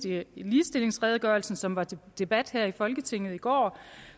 i den ligestillingsredegørelse som var til debat her i folketinget i går